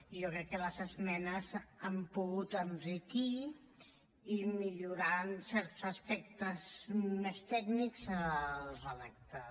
jo crec que les esmenes n’han pogut enriquir i millorar en certs aspectes més tècnics el redactat